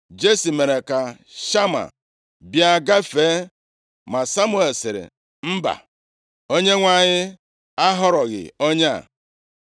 Jesi mere ka Shama bịa gafee, ma Samuel sịrị, “Mba Onyenwe anyị ahọrọghị onye a.”